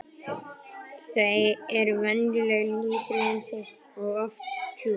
Þau eru venjulega lítil um sig og oft djúp.